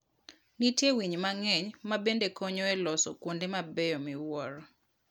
Nitie winy mang'eny ma bende konyo e loso kuonde mabeyo miwuoro.